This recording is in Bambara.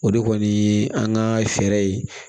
O de kɔni ye an ka fɛɛrɛ ye